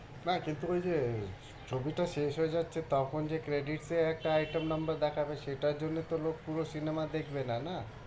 না কিন্তু ওই যে ছবিটা শেষ হয় যাচ্ছে তখন যে credit পেয়ে একটা item number দেখাবে সেটার জন্য তো লোক পুরো সিনেমা দেখবে না, না